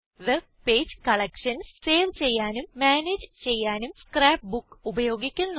web page collections save ചെയ്യാനും manage ചെയ്യാനും scrapbook ഉപയോഗിക്കുന്നു